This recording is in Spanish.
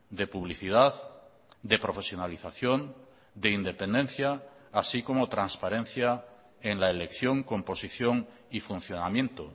de publicidad de profesionalización de independencia así como transparencia en la elección composición y funcionamiento